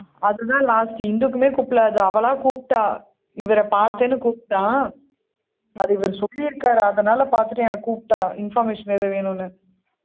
அதுதான் last இந்துக்குமே கூப்பிடலை அது அவளா கூப்பிட்டா இவரை பார்த்தேன்னு கூப்பிட்டா அதை இவர் சொல்லியிருக்கார் அதனால பார்த்துட்டு என்னை கூப்பிட்டா information ஏதும் வேணும்னு